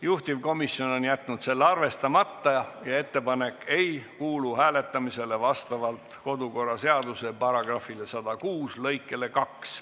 Juhtivkomisjon on jätnud selle arvestamata ja ettepanek ei kuulu hääletamisele vastavalt kodukorraseaduse § 106 lõikele 2.